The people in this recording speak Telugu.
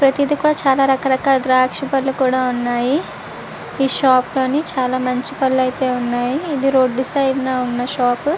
ప్రదిగా అని దర్శక పానాదులు కనిపేస్తునే అండ్ తాజాగా అని కనిపేస్తునే అండ్ షాప్ కూడా ఉనాది. పక్కన అండ్ చూడానికి--